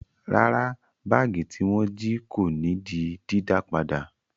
Rárá, báágì tí wọ́n jí kò ní di dídá padà.